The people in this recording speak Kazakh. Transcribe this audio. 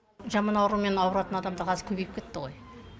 жаман аурумен ауыратын адамдар қазір көбейіп кетті ғой